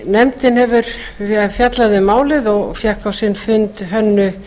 nefndin hefur fjallað um málið og fékk á sinn fund hönnu